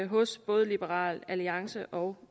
hos både liberal alliance og